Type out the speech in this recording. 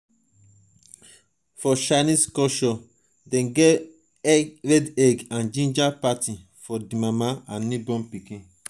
for chinese culture dem get red egg and ginger parti for di mama and newborn pikin